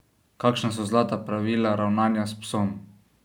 Kakšna so zlata pravila ravnanja s psom?